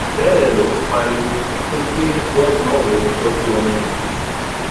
bẹẹ ló ń pariwo pé kí wọn bá òun tọjú àwọn ọmọ òun